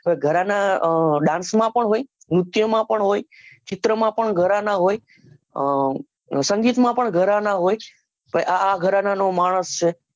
ઘરાના અ dance માં પણ હોય નુત્ય માં પણ હોય ચિતા માં પણ હોય ઘરાનાહોય અ સંગીત માં પણ ઘરાના હોય તે આ ઘરાના નો માણસ છે